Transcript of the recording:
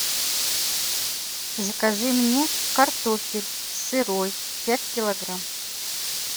закажи мне картофель сырой пять килограмм